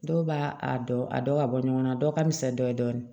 Dɔw b'a a dɔn a dɔ ka bɔ ɲɔgɔn na dɔw ka misɛn dɔɔnin